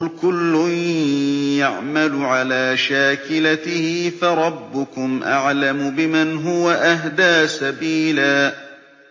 قُلْ كُلٌّ يَعْمَلُ عَلَىٰ شَاكِلَتِهِ فَرَبُّكُمْ أَعْلَمُ بِمَنْ هُوَ أَهْدَىٰ سَبِيلًا